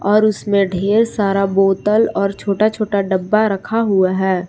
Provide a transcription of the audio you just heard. और उसमें ढेर सारा बोतल और छोटा छोटा डब्बा रखा हुआ है।